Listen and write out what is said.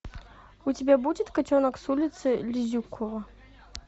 у тебя будет котенок с улицы лизюкова